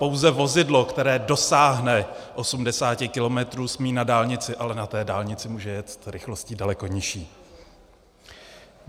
Pouze vozidlo, které dosáhne 80 kilometrů, smí na dálnici, ale na té dálnici může jet rychlostí daleko nižší.